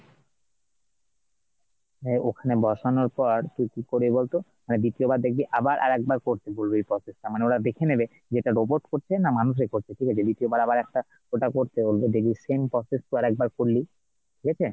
হ্যাঁ ওখানে বসানোর পর তুই কি করবি বলতো মানে দ্বিতীয়বার দেখবি আবার আরেকবার করতে বলবে ওই process টা মানেওরা দেখেনেবে যে এটা robot করছে না মানুষে করছে ঠিকাছে, দ্বিতীয়বার আবার আরেকটা ওটা করতে বলবে দেখবি same process তোর আরেকবার করলি ঠিক আছে,